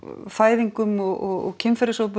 fæðingum og kynferðisofbeldi